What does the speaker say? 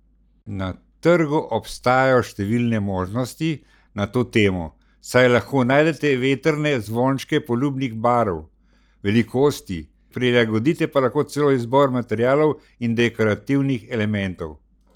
Na trgu obstajajo številne možnosti na to temo, saj lahko najdete vetrne zvončke poljubnih barv, velikosti, prilagodite pa lahko celo izbor materialov in dekorativnih elementov.